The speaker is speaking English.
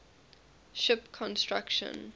ship construction